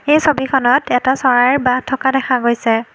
এই ছবিখনত এটা চৰাইৰ বাহ থকা দেখা গৈছে।